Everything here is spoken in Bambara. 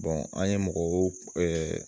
an ye mɔgɔw